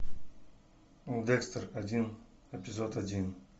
декстер один эпизод один